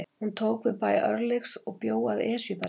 Hún tók við bæ Örlygs og bjó að Esjubergi.